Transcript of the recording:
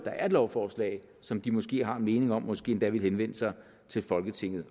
er et lovforslag som de måske har en mening om måske endda vil henvende sig til folketinget